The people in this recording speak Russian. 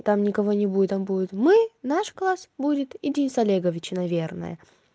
там никого не будет там будет мы наш класс будет и денис олегович наверное